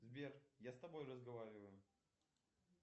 сбер я с тобой разговариваю